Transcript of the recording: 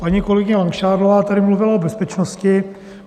Paní kolegyně Langšádlová tady mluvila o bezpečnosti.